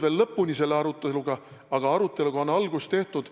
Me ei jõudnud selle aruteluga lõpuni, aga aruteluga on algust tehtud.